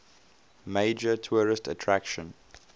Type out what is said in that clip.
major tourist attraction